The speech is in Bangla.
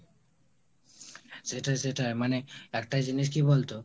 সেটা সেটাই মানে একটা জিনিস কি বলতো